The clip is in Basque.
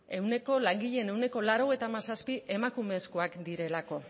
langileen ehuneko laurogeita hamazazpi emakumezkoak direlako